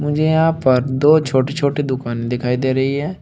मुझे यहां पर दो छोटे छोटे दुकाने दिखाई दे रही है।